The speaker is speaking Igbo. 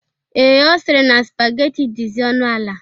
Ee, Ọ sịrị na spageti dizi ọnụ ala